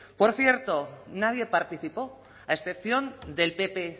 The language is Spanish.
por cierto nadie participó a excepción del pp